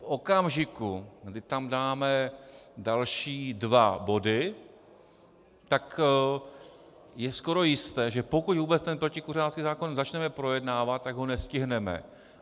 V okamžiku, kdy tam dáme další dva body, tak je skoro jisté, že pokud vůbec tento protikuřácký zákon začneme projednávat, tak ho nestihneme.